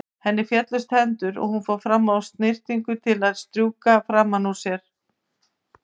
Henni féllust hendur og hún fór fram á snyrtingu til að strjúka framan úr sér.